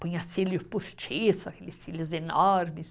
Ponha cílios postiço, aqueles cílios enormes.